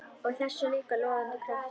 Og þessum líka logandi krafti.